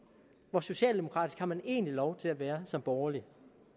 hvor socialdemokratisk har man egentlig lov til at være som borgerlig